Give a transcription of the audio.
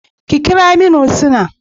Ki kira min Husnah.